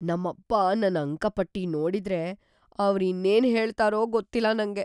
ನಮ್ಮಪ್ಪ ನನ್ ಅಂಕಪಟ್ಟಿ ನೋಡಿದ್ರೆ, ಅವ್ರ್ ಇನ್ನೇನ್‌ ಹೇಳ್ತಾರೋ ಗೊತ್ತಿಲ್ಲ ನಂಗೆ.